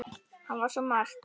Hann var svo margt.